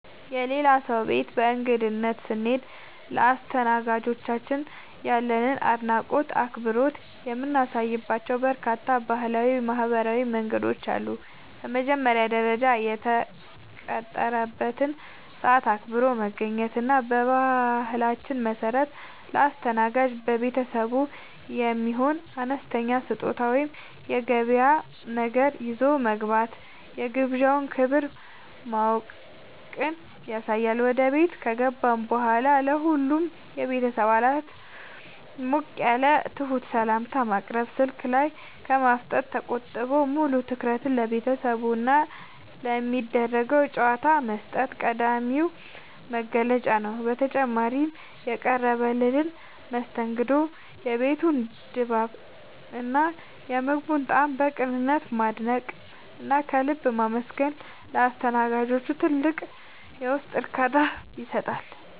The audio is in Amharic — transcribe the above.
የሌላ ሰው ቤት በእንግድነት ስንሄድ ለአስተናጋጆቻችን ያለንን አድናቆትና አክብሮት የምናሳይባቸው በርካታ ባህላዊና ማኅበራዊ መንገዶች አሉ። በመጀመሪያ ደረጃ፣ የተቀጠረበትን ሰዓት አክብሮ መገኘት እና በባህላችን መሠረት ለአስተናጋጅ ቤተሰቡ የሚሆን አነስተኛ ስጦታ ወይም የገበያ ነገር ይዞ መግባት የግብዣውን ክብር ማወቅን ያሳያል። ወደ ቤት ከገባን በኋላም ለሁሉም የቤተሰብ አባላት ሞቅ ያለና ትሑት ሰላምታ ማቅረብ፣ ስልክ ላይ ከማፍጠጥ ተቆጥቦ ሙሉ ትኩረትን ለቤተሰቡና ለሚደረገው ጨዋታ መስጠት ቀዳሚው መገለጫ ነው። በተጨማሪም፣ የቀረበልንን መስተንግዶ፣ የቤቱን ድባብና የምግቡን ጣዕም በቅንነት ማድነቅና ከልብ ማመስገን ለአስተናጋጆቹ ትልቅ የውስጥ እርካታን ይሰጣል።